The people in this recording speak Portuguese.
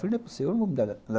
Falei, não é possível